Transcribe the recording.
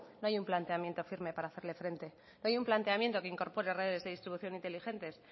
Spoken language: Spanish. no hay un planteamiento firme para hacerle frente no hay un planteamiento que incorpore redes de distribución inteligentes